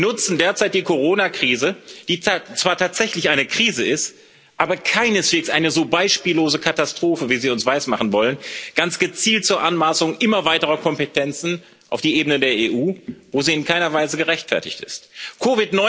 Sie nutzen derzeit die Coronakrise, die zwar tatsächlich eine Krise ist, aber keineswegs eine so beispiellose Katastrophe, wie Sie uns weismachen wollen, ganz gezielt zur Anmaßung immer weiterer Kompetenzen auf die Ebene der EU, wo sie in keiner Weise gerechtfertigt sind.